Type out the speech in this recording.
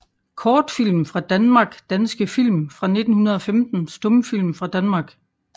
Kortfilm fra Danmark Danske film fra 1915 Stumfilm fra Danmark